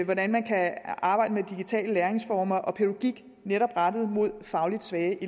hvordan man kan arbejde med digitale læringsformer og pædagogik netop rettet mod fagligt svage